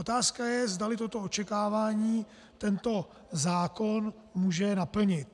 Otázka je, zdali toto očekávání tento zákon může naplnit.